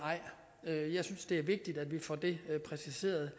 ej jeg synes det er vigtigt at vi får det præciseret